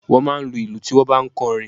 Wọ́n máa ń lu ìlù tí wọ́n ń bá ń kọ orin.